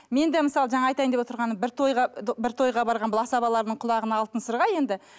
мен де мысалы жаңа айтайын деп отырғаным бір тойға бір тойға барған бұл асабалардың құлағына алтын сырға енді